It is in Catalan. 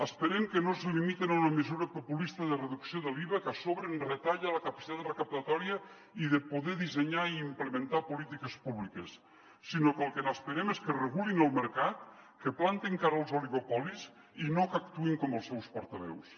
esperem que no es limiten a una mesura populista de reducció de l’iva que a so·bre ens retalla la capacitat recaptatòria i de poder dissenyar i implementar polítiques públiques sinó que el que n’esperem és que regulin el mercat que plantin cara als oligopolis i no que actuïn com els seus portaveus